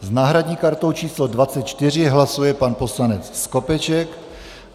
S náhradní kartou číslo 24 hlasuje pan poslanec Skopeček.